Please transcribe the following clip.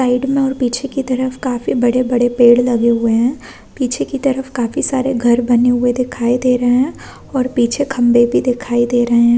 Side में और पीछे की तरफ काफ़ी बड़े-बड़े पेड़ लगे हुए है पीछे की तरफ काफी सारे घर बने हुए दिखाई दे रहे हे और पीछे खम्बे भी दिखाई दे रहे है।